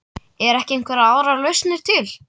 Eru ekki einhverjar aðrar lausnir til?